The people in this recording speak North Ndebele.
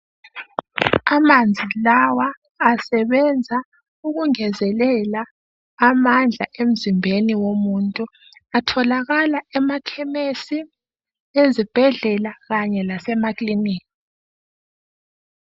Amanzi lawa asebenza ukungezelela amandla emzimbeni womuntu atholakala emakhemesi, ezibhedlela kanye lasemakilinika.